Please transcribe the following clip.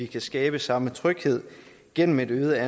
kan skabe samme tryghed gennem et øget